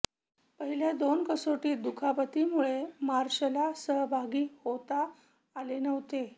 पहिल्या दोन कसोटीत दुखापतीमुळे मार्शला सहभागी होता आले नव्हते